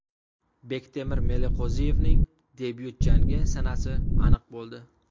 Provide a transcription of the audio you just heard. Bektemir Meliqo‘ziyevning debyut jangi sanasi aniq bo‘ldi.